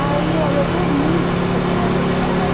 Aí eu eu dormi, porque eu trabalhava a noite toda, né?